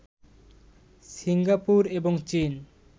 Singapore এবং চীন